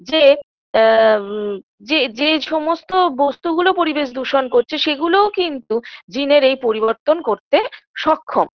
যে আ ম যে যে সমস্ত বস্তুগুলো পরিবেশ দূষণ করছে সেগুলোও কিন্তু জিনের এই পরিবর্তন করতে সক্ষম